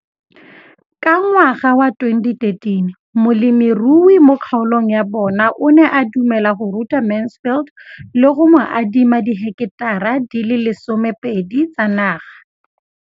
Ka ngwaga wa 2013, molemirui mo kgaolong ya bona o ne a dumela go ruta Mansfield le go mo adima di heketara di le 12 tsa naga.